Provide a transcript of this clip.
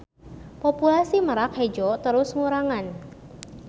Populasi Merak Hejo terus ngurangan.